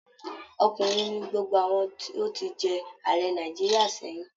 Ọkùnrin ni gbogbo àwọn tó ti jẹ Ààrẹ Nàìjíríà sẹ́yìn